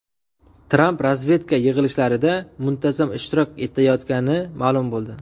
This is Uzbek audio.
Tramp razvedka yig‘ilishlarida muntazam ishtirok etayotgani ma’lum bo‘ldi.